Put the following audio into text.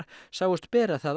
sáust bera það